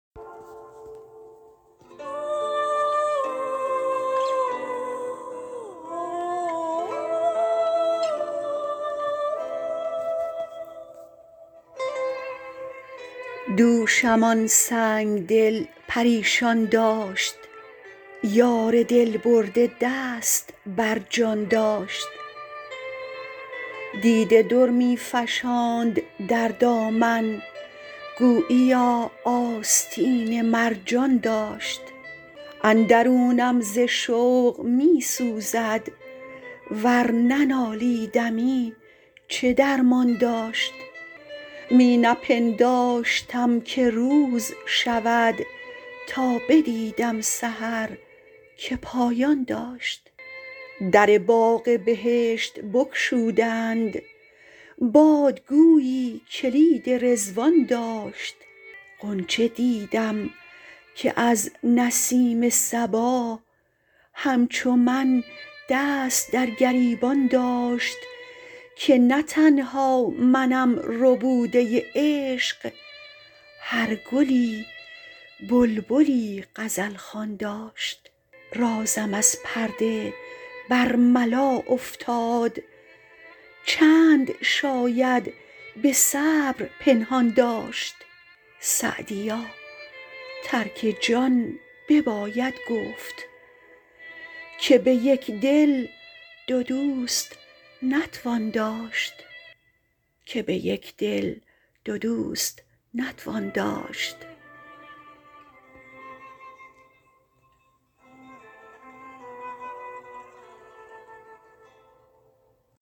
دوشم آن سنگ دل پریشان داشت یار دل برده دست بر جان داشت دیده در می فشاند در دامن گوییا آستین مرجان داشت اندرونم ز شوق می سوزد ور ننالیدمی چه درمان داشت می نپنداشتم که روز شود تا بدیدم سحر که پایان داشت در باغ بهشت بگشودند باد گویی کلید رضوان داشت غنچه دیدم که از نسیم صبا همچو من دست در گریبان داشت که نه تنها منم ربوده عشق هر گلی بلبلی غزل خوان داشت رازم از پرده برملا افتاد چند شاید به صبر پنهان داشت سعدیا ترک جان بباید گفت که به یک دل دو دوست نتوان داشت